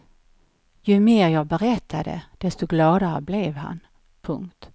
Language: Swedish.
Ju mer jag berättade desto gladare blev han. punkt